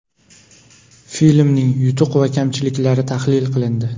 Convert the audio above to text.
Filmning yutuq va kamchiliklari tahlil qilindi.